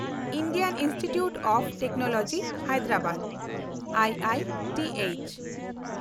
Indian institute of technology Hyderabad (IITH)